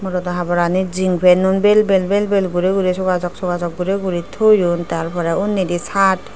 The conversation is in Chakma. porada haborani zingpanun vel vel vel vel guri guri sogasock sogasock guri guri toyon tar poree unidi shart.